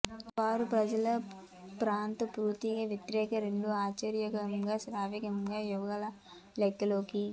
వారు ప్రజల పాత్ర పూర్తిగా వ్యతిరేకంగా రెండు ఒక ఆశ్చర్యకరంగా శ్రావ్యంగా యుగళ లెక్కలోకి